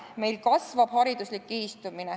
Meil kasvab hariduslik kihistumine.